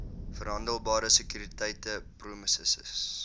verhandelbare sekuriteite promesses